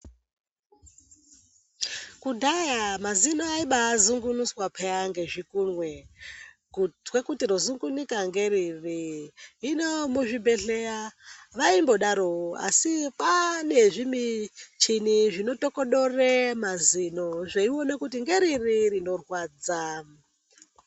Kudhaya mazino aibazungunuswa paya ngezvikunwe kutwe kuti rezungunuka ngeriri. Hino muzvibhedhlera vaimbodarowo asi kwaa nezvimichini zvinotokodore mazino zveiona kuti ngeriri rinorwadza.